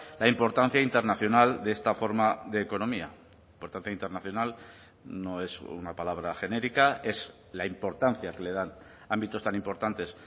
la importancia internacional de esta forma de economía por tanto internacional no es una palabra genérica es la importancia que le dan ámbitos tan importantes